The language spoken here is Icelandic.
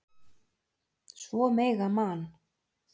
Svo mega Man.